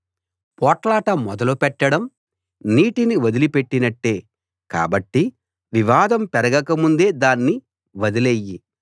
పోట్లాట మొదలు పెట్టడం నీటిని వదిలిపెట్టినట్టే కాబట్టి వివాదం పెరగక ముందే దాన్ని వదిలెయ్యి